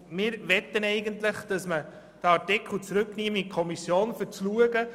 Wir möchten den Artikel zurück in die Kommission schicken.